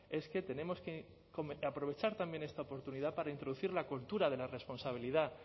es que tenemos que aprovechar también esta oportunidad para introducir la cultura de la responsabilidad